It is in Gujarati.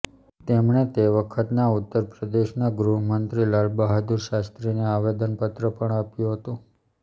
તેમણે તે વખતના ઉત્તર પ્રદેશના ગૃહ મંત્રી લાલબહાદુર શાસ્ત્રીને આવેદનપત્ર પણ આપ્યું હતું